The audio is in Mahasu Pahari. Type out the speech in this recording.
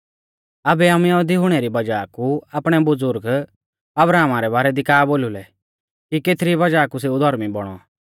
आबै आमै यहुदी हुणै री वज़ाह कु आपणै बुज़ुर्ग अब्राहमा रै बारै दी का बोलु लै कि केथरी वज़ाह कु सेऊ धौर्मी बौणौ